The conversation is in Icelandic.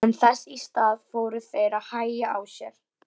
En þess í stað fóru þeir að hægja á sér.